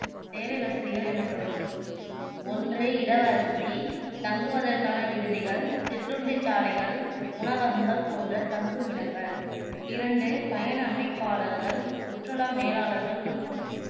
சேவை வசதிகள் எனப்படும் ஒன்று இடவசதி தங்குவதற்கான விடுதிகள், சிற்றுண்டி சாலைகள், உணவகங்கள் போன்ற தங்குமிடங்கள் இரண்டு பயண அமைப்பாளர்கள், சுற்றுலா மேலாளர்கள் மற்றும்